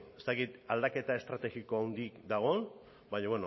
ez dakit aldaketa estrategiko handirik dagoen baina